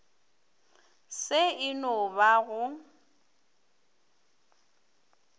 se e no ba go